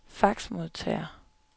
faxmodtager